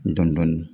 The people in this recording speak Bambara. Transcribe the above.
Dɔndɔni